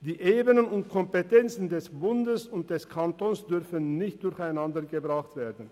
Die Ebenen und Kompetenzen des Bundes und des Kantons dürfen nicht durcheinandergebracht werden.